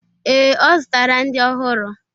Ee, o zụtara ndị ọhụrụ.